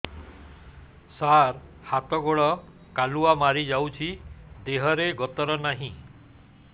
ସାର ହାତ ଗୋଡ଼ କାଲୁଆ ମାରି ଯାଉଛି ଦେହର ଗତର ନାହିଁ